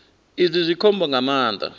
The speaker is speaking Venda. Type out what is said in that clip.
izwi zwi khombo nga maanḓa